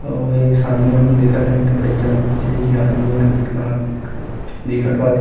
अउ एक सामने हम देखत हन एक ठो बड़े जान कुर्सी जिहा आदमी मन ह बईठ वहाँ चूंदी कटवात हे।